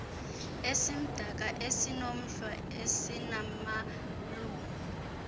esimdaka esinomhlwa esinamalungu